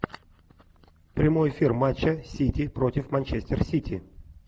прямой эфир матча сити против манчестер сити